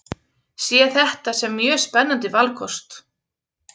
Sé þetta sem mjög spennandi valkost